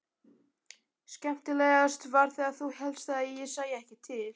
Skemmtilegast var þegar þú hélst ég sæi ekki til.